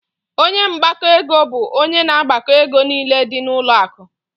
Ọnye mgbako ego bụ ónyé na agbako égo niile dị na ụlọ akụ.